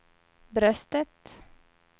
bröstet